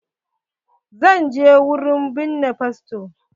Zan je wurin binne fasto.